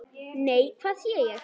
Nei, hvað sé ég!